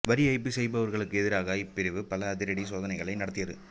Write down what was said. வரிஏய்ப்பு செய்பவர்களுக்கு எதிராக இப்பிரிவு பல அதிரடி சோதனைகளை நடத்தியது